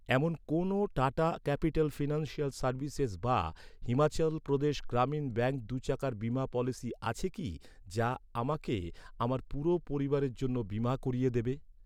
এমন কোনো Tata Capital Financial Services বা হিমাচল প্রদেশ গ্রামীণ ব্যাঙ্ক দু'চাকার বীমা পলিসি আছে কি, যা আমাকে আমার পুরো পরিবারের জন্য বীমা করিয়ে দেবে?